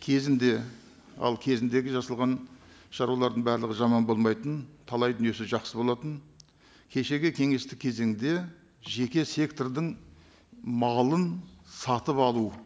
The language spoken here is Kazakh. кезінде ал кезіндегі жасалған шаруалардың барлығы жаман болмайтын талай дүниесі жақсы болатын кешегі кеңестік кезеңде жеке сектордың малын сатып алу